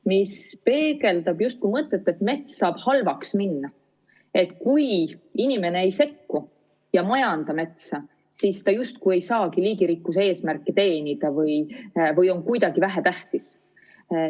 See peegeldab justkui mõtet, et mets saab halvaks minna, et kui inimene ei sekku ega majanda metsa, siis mets justkui ei saagi liigirikkuse eesmärki teenida või on kuidagi vähetähtis.